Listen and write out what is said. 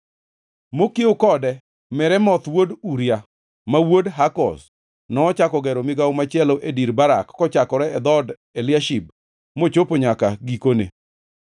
Mokiewo kode, Meremoth wuod Uria, ma wuod Hakoz, nochako gero migawo machielo e dir Barak kochakore e dhood Eliashib mochopo nyaka gikone.